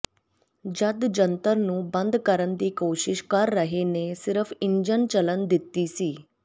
ਜਦ ਜੰਤਰ ਨੂੰ ਬੰਦ ਕਰਨ ਦੀ ਕੋਸ਼ਿਸ਼ ਕਰ ਰਹੇ ਨੇ ਸਿਰਫ਼ ਇੰਜਣ ਚੱਲਣ ਦਿੱਤੀ ਸੀ